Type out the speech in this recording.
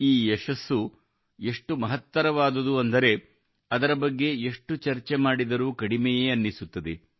ಈ ಯಶಸ್ಸು ಎಷ್ಟು ಮಹತ್ತರವಾದದ್ದು ಎಂದರೆ ಅದರ ಬಗ್ಗೆ ಎಷ್ಟು ಚರ್ಚೆ ಮಾಡಿದರೂ ಕಡಿಮೆಯೇ ಅನ್ನಿಸುತ್ತದೆ